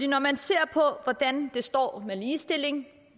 når man ser på hvordan det står til med ligestillingen